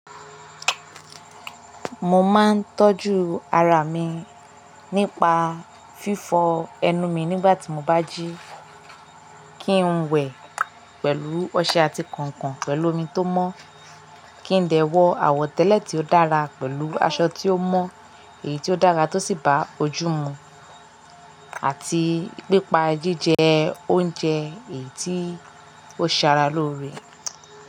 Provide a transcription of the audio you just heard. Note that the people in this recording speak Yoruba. Mo máa ń tọ́jú ara mi nípa fífọ ẹnu mi nígbà tí mo bá jí, kín wẹ̀ pẹ̀lú ọṣẹ àti kànkàn pẹ̀lú omi tó mọ́, kí n dẹ̀ wọ àwọ̀tẹ́lẹ̀ tí ó dára pẹ̀lú aṣọ tí ó mọ́ èyí tí ó dára tó sì bá ojú mu àti pípa jíjẹ oúnjẹ èyí tí ó ṣe ara lóore.